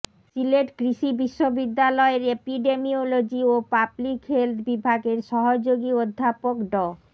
সিলেট কৃষি বিশ্ববিদ্যালয়ের এপিডেমিওলজি ও পাবলিক হেলথ বিভাগের সহযোগী অধ্যাপক ড